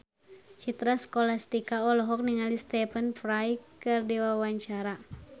Citra Scholastika olohok ningali Stephen Fry keur diwawancara